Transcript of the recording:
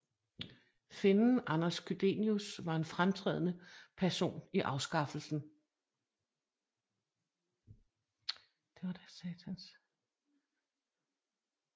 Finnen Anders Chydenius var en fremtrædende person i afskaffelsen